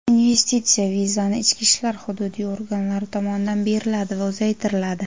investitsiya vizasi ichki ishlar hududiy organlari tomonidan beriladi va uzaytiriladi.